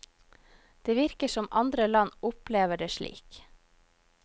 Det virker som andre land opplever det slik.